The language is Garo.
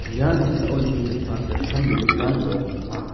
ia noksao nikenggipa gitchambegipa nok ong·a.